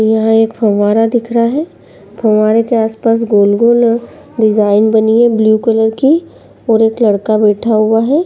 यहाॅं एक फव्वारा दिख रहा है। फव्वारे के आस पास गोल गो डिज़ाइन बनी है ब्लू कलर की और एक लड़का बैठा हुआ है।